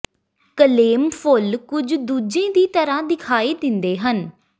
claim ਫੁੱਲ ਕੁੱਝ ਦੂੱਜੇ ਦੀ ਤਰ੍ਹਾਂ ਦਿਖਾਈ ਦਿੰਦੇ ਹਨ